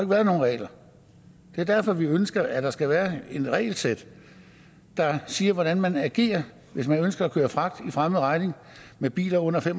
været nogen regler det er derfor vi ønsker at der skal være et regelsæt der siger hvordan man skal agere hvis man ønsker at køre fragt for fremmed regning med biler under tre